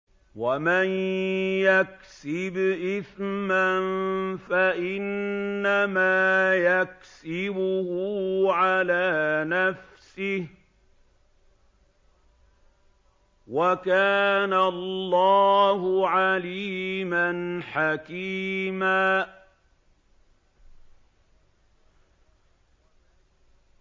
وَمَن يَكْسِبْ إِثْمًا فَإِنَّمَا يَكْسِبُهُ عَلَىٰ نَفْسِهِ ۚ وَكَانَ اللَّهُ عَلِيمًا حَكِيمًا